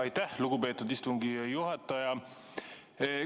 Aitäh, lugupeetud istungi juhataja!